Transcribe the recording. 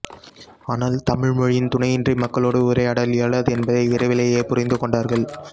ஆனால் தமிழ்மொழியின் துணையின்றி மக்களோடு உரையாடல் இயலாது என்பதை விரைவிலேயே புரிந்துகொண்டார்கள்